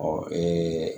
Ɔ